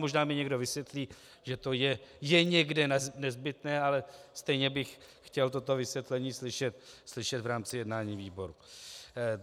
Možná mi někdo vysvětlí, že to je někde nezbytné, ale stejně bych chtěl toto vysvětlení slyšet v rámci jednání výboru.